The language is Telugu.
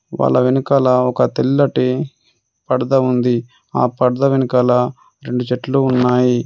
వాళ్ళ వెనకాల ఒక తెల్లటి పడద ఉంది. ఆ పడద వెనకాల రెండు చెట్లు ఉన్నాయి.